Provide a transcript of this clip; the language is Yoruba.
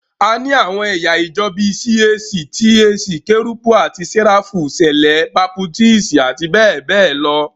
A ní àwọn ẹ̀yà ìjọ bíi CAC, TAC, Kérúbù àti Séráfù, Sẹ̀lẹ́, Baputíìsì àti bẹ́ẹ̀ bẹ́ẹ̀ lọ.